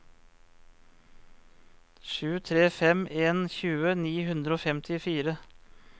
sju tre fem en tjue ni hundre og femtifire